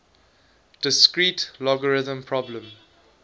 discrete logarithm problem